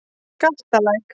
Galtalæk